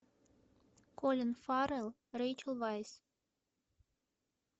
колин фаррелл рэйчел вайс